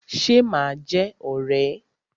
Ṣe ma jẹ́ ọ̀rẹ́?